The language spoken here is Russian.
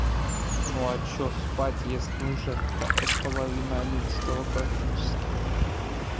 ну а что спать если уже половина одиннадцатого практически